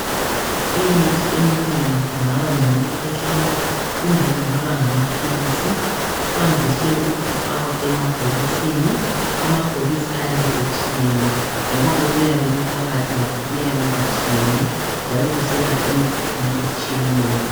Imithi eminengi kungaba ngeyokukhwehlela kumbe kungaba ngamaphilisi, kwandise ukufakwa emabhokisini. Amabhokisi ayabe etshiyene ngoba okuyabe kuphakathi lakho kuyabe kutshiyene, njalo kuselapha imikhuhlane etshiyeneyo.